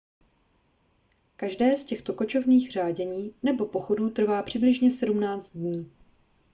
každé z těchto kočovných řádění nebo pochodů trvá přibližně 17 dní